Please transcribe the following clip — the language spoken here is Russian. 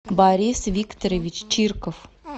борис викторович чирков